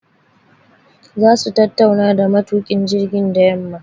Za su tattauna da matukin jirgin da yamma